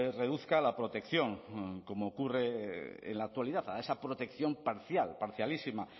reduzca a la protección como ocurre en la actualidad a esa protección parcial parcialísima